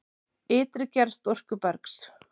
Ytri gerð storkubergs